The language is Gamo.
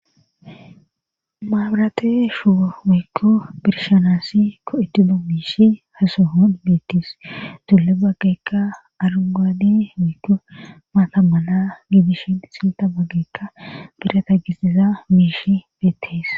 Maabrate shu wiikko birshanaasi ko7etido miishi hasohon beettis tulle baggeekka arungaadi wiikko maatammana miidishin silta baggeekka birata gisiza miishi beettees.